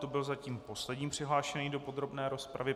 To byl zatím poslední přihlášený do podrobné rozpravy.